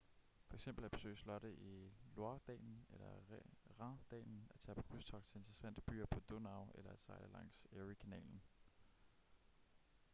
for eksempel at besøge slotte i loire-dalen eller rhindalen at tage på krydstogt til interessante byer på donau eller at sejle langs erie-kanalen